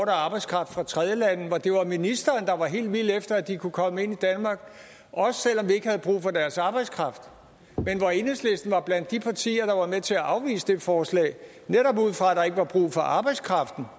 af arbejdskraft fra tredjelande hvor det var ministeren der var helt vild efter at de kunne komme ind i danmark også selv om vi ikke havde brug for deres arbejdskraft men hvor enhedslisten var blandt de partier der var med til at afvise det forslag netop ud fra ikke var brug for arbejdskraften